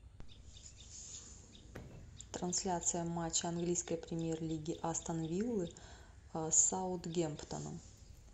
трансляция матча английской премьер лиги астон виллы с саутгемптоном